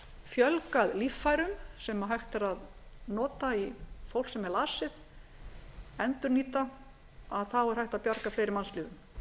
fjölgað líffærum sem hægt er að ætla í fólk sem er lasið endurnýta þá er hægt að bjarga fleiri mannslífum